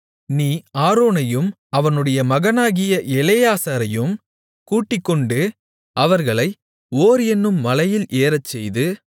நீ ஆரோனையும் அவனுடைய மகனாகிய எலெயாசாரையும் கூட்டிக்கொண்டு அவர்களை ஓர் என்னும் மலையில் ஏறச்செய்து